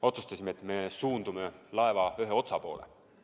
Otsustasime, et me suundume laeva ühe otsa poole.